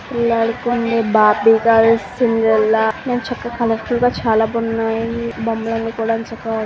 పిల్లలు ఆడుకునే Barbie girl Cinderella ఇక్కడ చక్కగా కలర్ ఫుల్ గా చాలా బాగున్నాయి బొమ్మలన్ని కూడా చక్కగా.